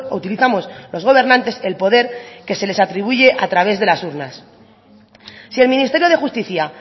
utilizamos los gobernantes el poder que se les atribuye a través de las urnas si el ministerio de justicia